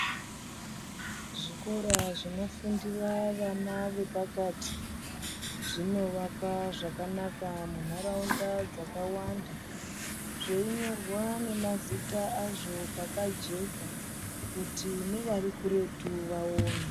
Zvikora zvinofundira vana vepakati zvinovakwa zvakanaka munaraunda dzakawanda dzeinyorwa nemazita azvo zvakajeka kuti nevarikutu vaone.